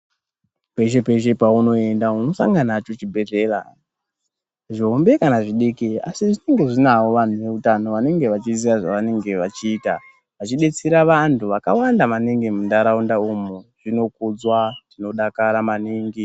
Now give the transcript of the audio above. Pese-pese paunoenda unosangana nacho chibhedhlera zvihombe kana zvidiki. Asi zvenonga zvinavo vantu veutano vanenga vachizviziva zvavanenge vachiita. Vachibetsera vantu vakawanda maningi muntaraunda umu zvino kudzwa tinodakara maningi.